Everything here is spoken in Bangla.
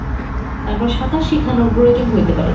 তারপর সাঁতার শিখানোর প্রয়োজন হইতে পারে।